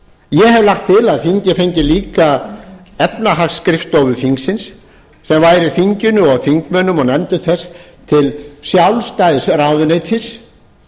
ég hef lagt til að þingið fengi líka efnahagsskrifstofu þingsins sem væri þinginu og þingmönnum og nefndum þess til sjálfstæðs ráðuneytis